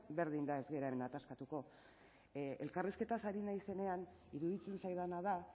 berdin da ez gara hemen ataskatuko elkarrizketaz ari naizenean iruditzen zaidana da